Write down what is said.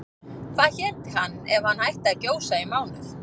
Hvað héti hann ef hann hætti að gjósa í mánuð?